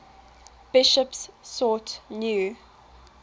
bishops sought new